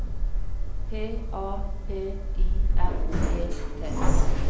P A P I R E T